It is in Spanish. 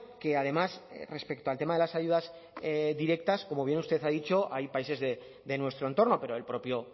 que además respecto al tema de las ayudas directas como bien usted ha dicho hay países de nuestro entorno pero el propio